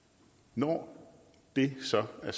når det så er